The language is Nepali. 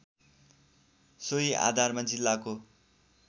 सोही आधारमा जिल्लाको